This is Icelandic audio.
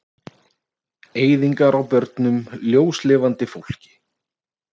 Eyðingar á börnum, ljóslifandi fólki.